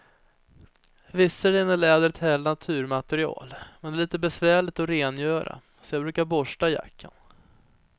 Visserligen är läder ett härligt naturmaterial, men det är lite besvärligt att rengöra, så jag brukar borsta jackan.